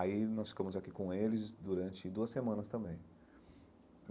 Aí nós ficamos aqui com eles durante duas semanas também.